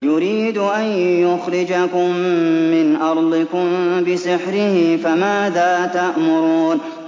يُرِيدُ أَن يُخْرِجَكُم مِّنْ أَرْضِكُم بِسِحْرِهِ فَمَاذَا تَأْمُرُونَ